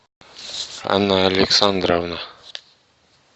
анна александровна